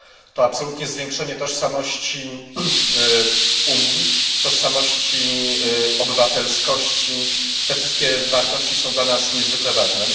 To absolutnie zwiększenie tożsamości Unii, tożsamości, obywatelskości, te wszystkie wartości są dla nas niezwykle ważne.